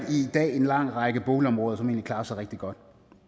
en lang række boligområder som egentlig klarer sig rigtig godt